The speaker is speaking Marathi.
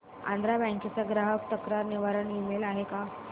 आंध्रा बँक चा ग्राहक तक्रार निवारण ईमेल आहे का